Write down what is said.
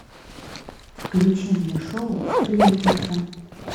включи мне шоу сплетница